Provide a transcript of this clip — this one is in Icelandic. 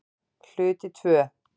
Hluti II